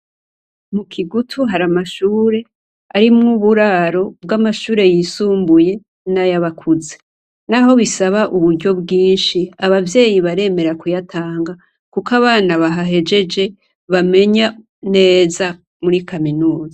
Mu Kigutu haramashure arimwo uburaro bw'amashure yisumbuye nay'abakuze. Naho bisaba uburyo bwinshi, abavyeyi baremera kuyatanga kuko abana bahahejeje bamenya neza muri kaminuza.